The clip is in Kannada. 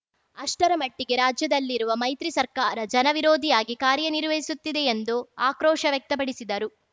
ಅಷ್ಟರ ಮಟ್ಟಿಗೆ ರಾಜ್ಯದಲ್ಲಿರುವ ಮೈತ್ರಿ ಸರ್ಕಾರ ಜನವಿರೋಧಿಯಾಗಿ ಕಾರ್ಯನಿರ್ವಹಿಸುತ್ತಿದೆ ಎಂದು ಆಕ್ರೋಶ ವ್ಯಕ್ತಪಡಿಸಿದರು